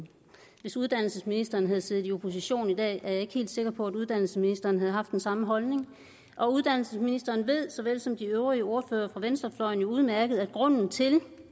hvis uddannelsesministeren havde siddet i opposition i dag er jeg ikke helt sikker på at uddannelsesministeren havde haft den samme holdning uddannelsesministeren såvel som de øvrige ordførere for venstrefløjen ved udmærket at grunden til